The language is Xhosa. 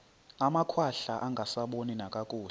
amakhwahla angasaboni nakakuhle